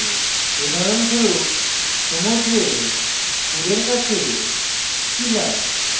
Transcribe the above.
উদাহরণস্বরূপ সমুদ্রের কূলের কাছে শিলা